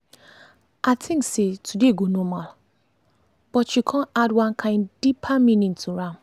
i think say today go normal but you con add one kain deeper meaning to am.